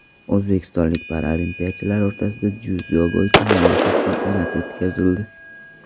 O‘zbekistonlik paralimpiyachilar o‘rtasida dzyudo bo‘yicha mamlakat chempionati o‘tkazildi.